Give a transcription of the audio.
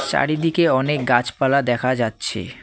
চারিদিকে অনেক গাছপালা দেখা যাচ্ছে।